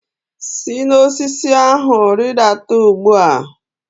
Si n'osisi ahụ rịdata ugbu a!